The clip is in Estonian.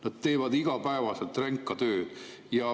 Nad teevad igapäevaselt ränka tööd.